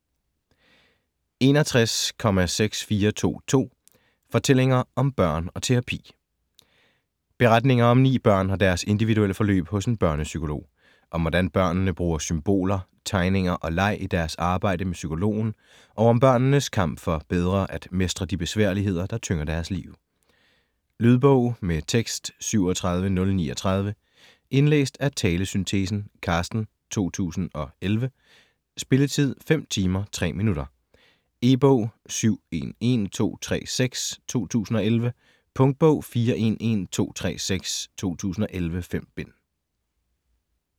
61.6422 Fortællinger om børn og terapi Beretninger om ni børn og deres individuelle forløb hos en børnepsykolog. Om hvordan børnene bruger symboler, tegninger og leg i deres arbejde med psykologen og om børnenes kamp for bedre at mestre de besværligheder, der tynger deres liv. Lydbog med tekst 37039 Indlæst af talesyntesen Carsten, 2011. Spilletid: 5 timer, 3 minutter. E-bog 711236 2011. Punktbog 411236 2011. 5 bind.